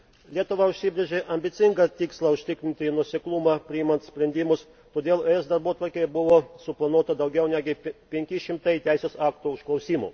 Lietuva užsibrėžė ambicingą tikslą užtikrinti nuoseklumą priimant sprendimus, todėl ES darbotvarkėje buvo suplanuota daugiau negu 500 teisės aktų užklausimų.